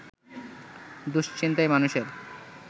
দুশ্চিন্তায় মানুষের